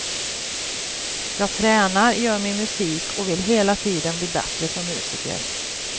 Jag tränar, gör min musik och vill hela tiden bli bättre som musiker.